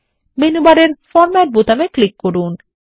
menu বারের format বোতামে click করুন